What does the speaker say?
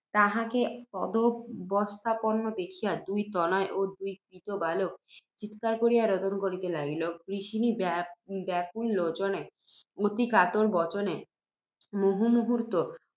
তাঁহাকে তদবস্থাপন্ন দেখিয়া, দুই তনয় ও দুই ক্রীত বালক চীৎকার করিয়া রোদন করিতে লাগিল। গৃহিণী, বাষ্পাকুল লোচনে, অতি কাতর বচনে, মুহুর্মুহুঃ